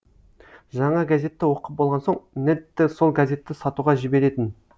жаңа газетті оқып болған соң нэдті сол газетті сатуға жіберетін